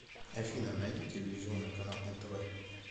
афина найди телевизионный канал нтв